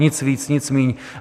Nic víc, nic míň.